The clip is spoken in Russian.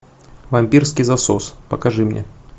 вампирский засос покажи мне